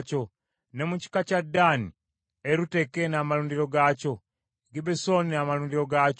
ne mu kika kya Ddaani, Eruteke n’amalundiro gaakyo, Gibbesoni n’amalundiro gaakyo,